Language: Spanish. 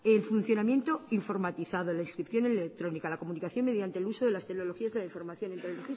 el funcionamiento informatizado la inscripción electrónica la comunicación mediante el uso de las tecnologías de la información en el